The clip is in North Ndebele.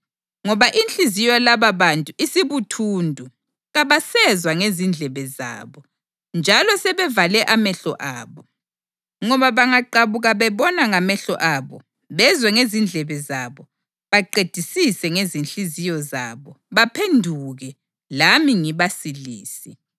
Ngoba inhliziyo yalababantu isibuthundu; kabasezwa ngezindlebe zabo, njalo sebevale amehlo abo; ngoba bangaqabuka bebona ngamehlo abo, bezwe ngezindlebe zabo, baqedisise ngezinhliziyo zabo, baphenduke, lami ngibasilise.’ + 28.27 U-Isaya 6.9-10